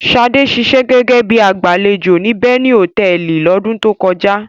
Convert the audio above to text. Ṣadé ṣiṣẹ́ gẹ́gẹ́ bí i agbàlejò ní Beni Hòtẹ́ẹ́lì lọ́dún tó kọjá.